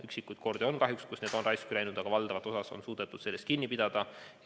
Üksikuid kordi on kahjuks olnud, kui vaktsiin on raisku läinud, aga valdavalt on suudetud sellest kinni pidada.